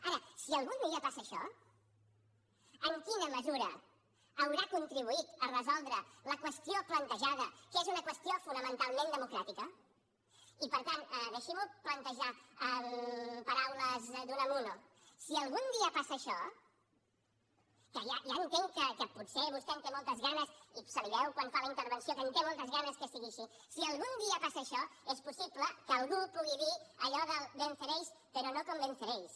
ara si algun dia passa això en quina mesura haurà contribuït a resoldre la qüestió plantejada que és una qüestió fonamentalment democràtica i per tant deixi m’ho plantejar en paraules d’unamuno si algun dia passa això que ja entenc que potser vostè en té moltes ganes i se li veu quan fa la intervenció que en té moltes ganes que sigui així és possible que algú pugui dir allò de venceréis pero no convenceréis